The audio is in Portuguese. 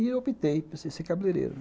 E optei por ser cabeleireiro.